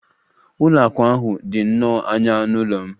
Ụlọ akụ ahụ dị nnọọ anya n'ụlọ m.